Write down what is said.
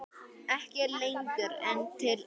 Ekki lengur en til eitt.